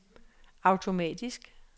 automatisk